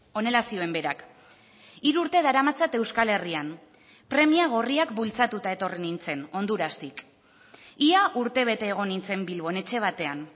honela zioen berak hiru urte daramatzat euskal herrian premia gorriak bultzatuta etorri nintzen hondurastik ia urte bete egon nintzen bilbon etxe batean